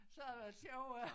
Så havde det været sjovere